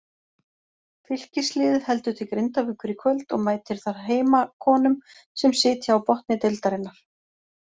Fylkisliðið heldur til Grindavíkur í kvöld og mætir þar heimakonum sem sitja á botni deildarinnar.